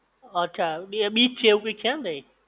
અચ્છા બે બીચ છે? એવું કઈક છે ને તઈ?